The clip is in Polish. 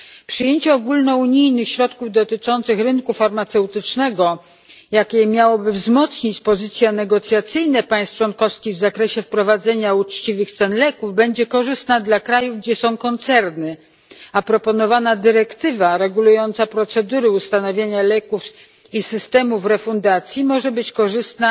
Przyjęcie ogólnounijnych środków dotyczących rynku farmaceutycznego, jakie miałoby wzmocnić pozycje negocjacyjne państw członkowskich w zakresie wprowadzenia uczciwych cen leków, będzie korzystne dla krajów, gdzie są koncerny, a proponowana dyrektywa regulująca procedury ustanawiania leków i systemów refundacji może być korzystna